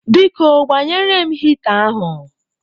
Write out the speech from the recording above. Biko, gbanyere m hịta ahụ.